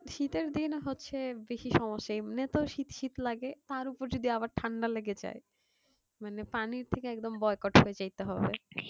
শীতের দিন হচ্ছে বেশি সমস্যা এমনিতে শীত শীত লাগে তারপর আবার যদি ঠান্ডা লেগে যাই মানে পানি থেকে একদম boycott হয়ে যাইতে হবে